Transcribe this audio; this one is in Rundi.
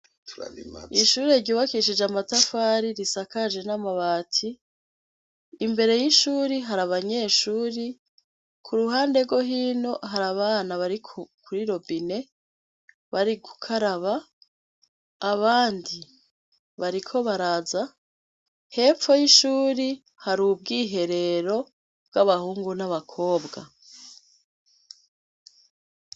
Ishure ryubakishije amatafari risakajwe n’amabati , imbere y’ishuri har’abanyeshuri , kuruhande rwo hino har’abana bari kuri robine bari gukaraba , abandi bariko baraza. Hepfo y’ishuri har’ubwiherero bw’abahungu n’abakobwa.